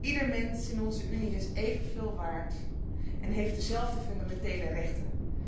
Ieder mens in onze Unie is even veel waard en heeft dezelfde fundamentele rechten.